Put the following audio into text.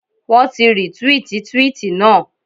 Wọ́n ti rìtwíìtì twíìtì naa.